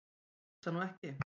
Ég hugsa nú ekki.